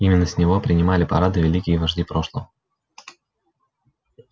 именно с него принимали парады великие вожди прошлого